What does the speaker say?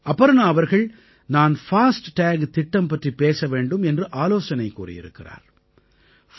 அபர்ணா அவர்கள் நான் FASTag திட்டம் பற்றிப் பேச வேண்டும் என்று ஆலோசனை கூறியிருக்கிறார்